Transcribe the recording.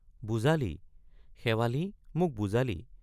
বুজালি—শেৱালি মোক বুজালি।